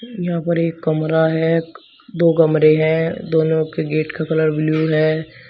यहां पर एक कमरा है दो कमरे हैं दोनों के गेट का कलर ब्लू है।